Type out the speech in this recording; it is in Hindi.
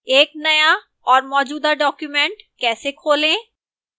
एक नया और मौजूदा document कैसे खोलें